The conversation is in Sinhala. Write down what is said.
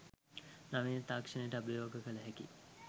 නවීන තාක්ෂණයට අභියෝග කළ හැකි